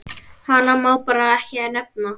Hana má bara ekki nefna.